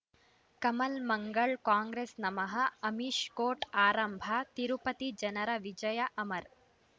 Kamal Mangal Congress ನಮಃ Amish court ಆರಂಭ ತಿರುಪತಿ ಜನರ ವಿಜಯ ಅಮರ್